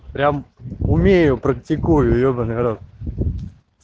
прям умею практикую ебанный рот